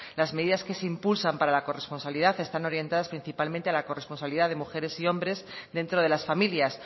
las medidas que se impulsan para la corresponsabilidad están orientadas principalmente a la corresponsabilidad de mujeres y hombres dentro de las familias